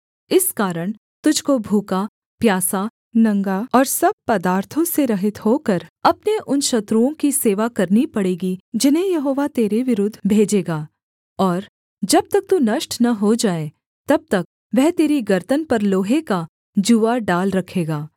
इस कारण तुझको भूखा प्यासा नंगा और सब पदार्थों से रहित होकर अपने उन शत्रुओं की सेवा करनी पड़ेगी जिन्हें यहोवा तेरे विरुद्ध भेजेगा और जब तक तू नष्ट न हो जाए तब तक वह तेरी गर्दन पर लोहे का जूआ डाल रखेगा